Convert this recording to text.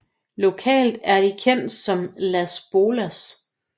Lokalt er de kendte som Las Bolas